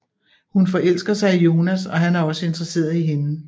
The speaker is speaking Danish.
Hun forelsker sig i Jonas og han er også interesseret i hende